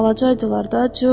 Balaca idilər də, Corc.